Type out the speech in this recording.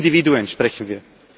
Von Individuen sprechen wir.